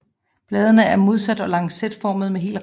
Bladene er modsatte og lancetformede med hel rand